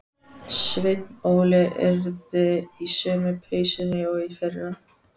Sveinn Óli yrði í sömu peysunni og í fyrra.